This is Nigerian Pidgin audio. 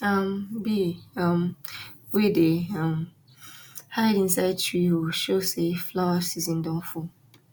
um bee um wey dey um hide inside tree hole show say flower season don full